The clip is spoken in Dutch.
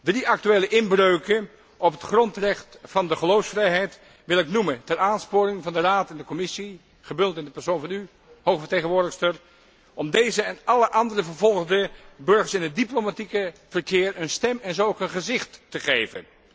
Drie actuele inbreuken op het grondrecht van de geloofsvrijheid wil ik noemen ter aansporing van de Raad en de Commissie, gebundeld in de persoon van u, hoge vertegenwoordigster, om deze en alle andere vervolgde burgers in het diplomatieke verkeer een stem en zo ook een gezicht te geven.